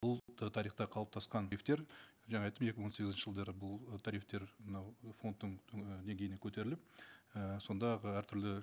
бұл тарихта қалыптасқан жаңа айттым екі мың он сегізінші жылдары бұл ы тарифтер мынау фондтың і деңгейіне көтеріліп і сондағы әртүрлі